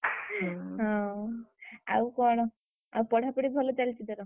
ହଁ, ଆଉ କଣ? ଆଉ ପଢାପଢି ଭଲ ଚାଲିଛି ତୋର?